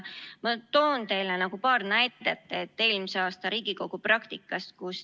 Ma toon teile paar näidet eelmise aasta Riigikogu praktikast.